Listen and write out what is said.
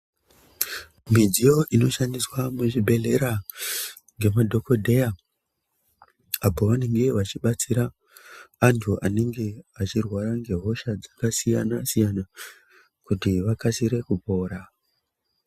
Midziyo inoshandiswa muzvibhedhlera ngemadhokodheya apo pavanenge vachibatsira vantu vanenge vechirwara ngehosha dzakasiyana siyana kuti vakasire kupora.